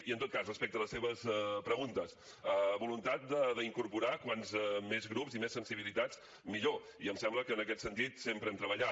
i en tot cas respecte a les seves preguntes voluntat d’incorporar com més grups i més sensibilitats millor i em sembla que en aquest sentit sempre hem treballat